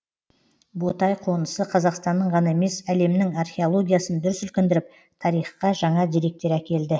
ботай қонысы қазақстанның ғана емес әлемнің археологиясын дүр сілкіндіріп тарихқа жаңа деректер әкелді